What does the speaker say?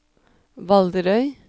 Valderøy